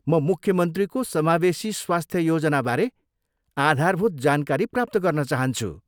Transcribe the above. म मुख्यमन्त्रीको समावेशी स्वास्थ्य योजनाबारे आधारभूत जानकारी प्राप्त गर्न चाहन्छु।